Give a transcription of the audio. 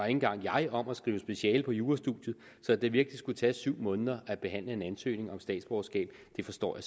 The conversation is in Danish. engang jeg om at skrive speciale på jurastudiet så at det virkelig skulle tage syv måneder at behandle en ansøgning om statsborgerskab forstår